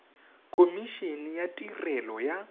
khomi ene ya tirelo ya